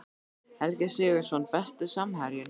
Helgi Sigurðsson Besti samherjinn?